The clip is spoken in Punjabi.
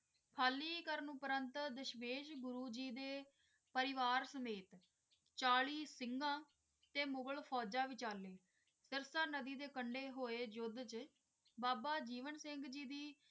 ਹਾਲੀ ਕਰਨ ਪ੍ਰਾਂਤ ਡਿਸ਼ਵੇਸ਼ ਗੁਰੂ ਜੀ ਤੇ ਪਰਿਵਾਰ ਸਮੇਤ ਚਾਲੀਸ ਸਿੰਘ ਤੇ ਫੋਜਜ ਵੀ ਚਾਲੀ ਦਾਸਲਾ ਨਦੀ ਦੇ ਕੋਲ ਹੋਏ ਦੇ ਬਾਬਾ ਜੀਵਨ ਸਿੰਘ ਜੀ ਦੀ